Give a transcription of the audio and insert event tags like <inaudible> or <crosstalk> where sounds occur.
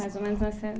Mais ou menos <unintelligible>